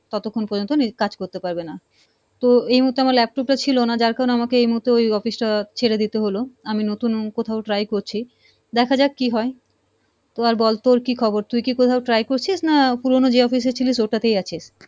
ততক্ষন পর্যন্ত কাজ করতে পারবে না, তো এই মুহূর্তে আমার laptop টা ছিলো না যার কারণে আমাকে এই মুহূর্তে ওই office টা ছেড়ে দিতে হলো আমি নতুন কোথাও try করছি, দেখা যাক কী হয় তো আর বল তোর কী খবর, তুই কি কোথাও try করছিস না পুরনো যে office এ ছিলিস ওটাতেই আছিস?